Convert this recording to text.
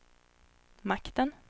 makten